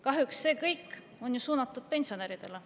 Kahjuks see kõik on ju suunatud pensionäridele.